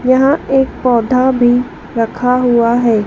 यहां एक पौधा भी रखा हुआ है।